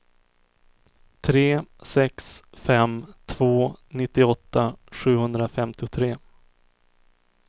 tre sex fem två nittioåtta sjuhundrafemtiotre